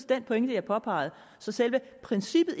den pointe jeg påpegede så selve princippet